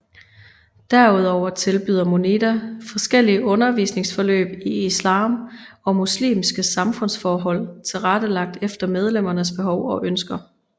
Derudover tilbyder Munida forskellige undervisningsforløb i islam og muslimske samfundsforhold tilrettelagt efter medlemmernes behov og ønsker